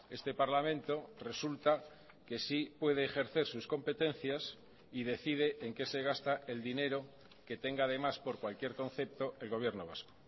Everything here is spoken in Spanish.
este parlamento resulta que sí puede ejercer sus competencias y decide en qué se gasta el dinero que tenga además por cualquier concepto el gobierno vasco